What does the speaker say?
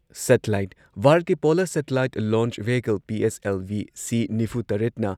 satellite ꯚꯥꯔꯠꯀꯤ polar satellite launch vehicle PSLV C ꯅꯤꯐꯨꯇꯔꯦꯠꯅ